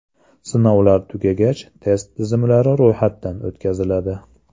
Sinovlar tugagach, test tizimlari ro‘yxatdan o‘tkaziladi.